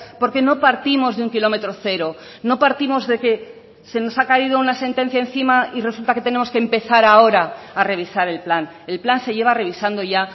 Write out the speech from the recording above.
porque no partimos de un kilómetro cero no partimos de que se nos ha caído una sentencia encima y resulta que tenemos que empezar ahora a revisar el plan el plan se lleva revisando ya